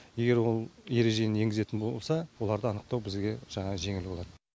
егер ол ережені енгізетін болса оларды анықтау бізге жаңағы жеңіл болады